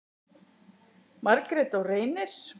Margrét og Reynir.